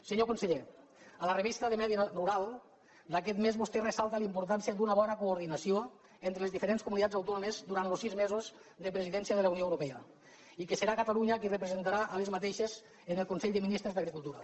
senyor conseller a la revista de medi rural d’aquest mes vostè ressalta la importància d’una bona coordinació entre les diferents comunitats autònomes durant los sis mesos de presidència de la unió europea i que serà catalunya qui les representarà en el consell de ministres d’agricultura